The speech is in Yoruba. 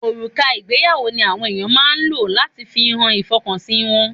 Òrùka ìgbéyàwó ni àwọn ènìyàn máa ń lò láti fi hàn ìfọkànsìn wọn.